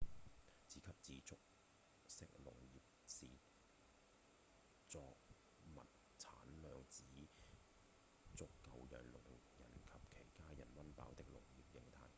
自給自足式農業是作物產量只足夠讓農人和其家人溫飽的農業型態